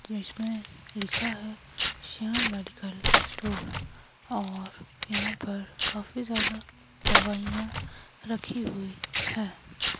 English में लिखा है श्याम मेडिकल स्टोर और यहां पर काफी ज्यादा दवाइयां रखी हुई हैं।